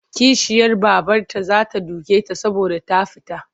Kishiyar babarta za ta duke ta saboda ta fita.